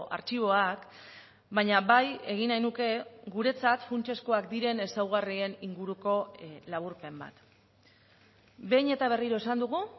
artxiboak baina bai egin nahi nuke guretzat funtsezkoak diren ezaugarrien inguruko laburpen bat behin eta berriro esan dugu